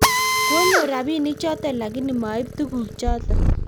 konyor rabinik choto lakini ma ib tuguk choto